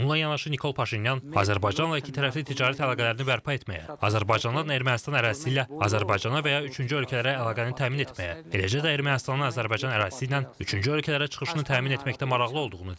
Bununla yanaşı Nikol Paşinyan Azərbaycanla ikitərəfli ticarət əlaqələrini bərpa etməyə, Azərbaycandan Ermənistan ərazisi ilə Azərbaycana və ya üçüncü ölkələrə əlaqəni təmin etməyə, eləcə də Ermənistanın Azərbaycan ərazisi ilə üçüncü ölkələrə çıxışını təmin etməkdə maraqlı olduğunu deyib.